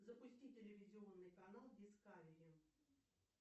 запусти телевизионный канал дискавери